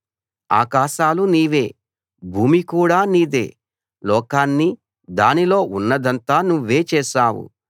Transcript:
ఆకాశాలు నీవే భూమి కూడా నీదే లోకాన్నీ దానిలో ఉన్నదంతా నువ్వే చేశావు